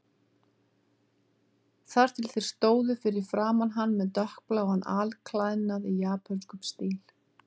Þar til þeir stóðu fyrir framan hann með dökkbláan alklæðnað í japönskum stíl.